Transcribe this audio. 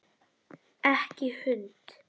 Ekki hund!